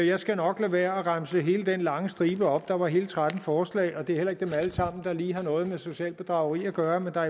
jeg skal nok lade være med at remse hele den lange stribe op der var hele tretten forslag og det er heller ikke dem alle sammen der lige har noget med socialt bedrageri at gøre men der